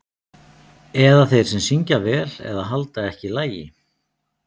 Eða þeir sem syngja vel eða halda ekki lagi.